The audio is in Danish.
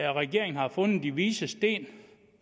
at regeringen har fundet de vises sten